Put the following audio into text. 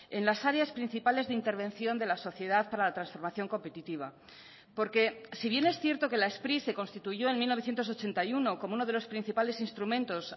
en las áreas principales de intervención de la sociedad para la transformación competitiva porque si bien es cierto que la spri se constituyó en mil novecientos ochenta y uno como uno de los principales instrumentos